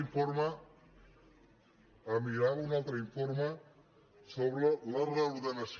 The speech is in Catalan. em mirava un altre informe sobre la reordenació